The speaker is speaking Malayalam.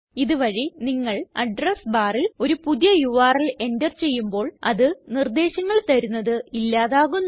ഇത് വഴി നിങ്ങൾ അഡ്രസ് barൽ ഒരു പുതിയ യുആർഎൽ എന്റർ ചെയ്യുമ്പോൾ അത് നിർദ്ദേശങ്ങൾ തരുന്നത് ഇല്ലാതാകുന്നു